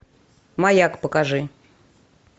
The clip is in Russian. маяк покажи